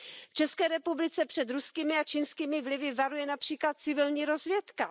V České republice před ruskými a čínskými vlivy varuje například civilní rozvědka.